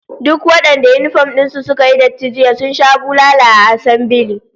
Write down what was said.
Duk wadanda yinifom din su suka yi datti jiya sun sha bulala a assambile